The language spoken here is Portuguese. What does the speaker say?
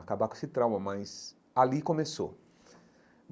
acabar com esse trauma, mas ali começou.